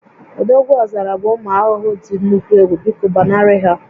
Odogwuọzara bụ ụmụ ahụhụ dị nnukwu egwu, biko gbanarị ha